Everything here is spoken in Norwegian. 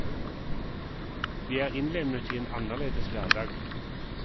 Vi er innlemmet i en annerledes hverdag.